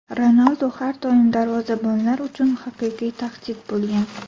Ronaldu har doim darvozabonlar uchun haqiqiy tahdid bo‘lgan.